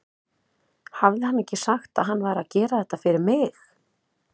Hafði hann ekki sagt að hann væri að gera þetta fyrir mig?